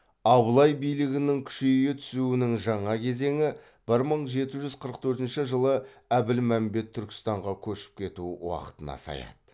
абылай билігінің күшейе түсуінің жаңа кезеңі бір мың жеті жүз қырық төртінші жылы әбілмәмбет түркістанға көшіп кетуі уақытына саяды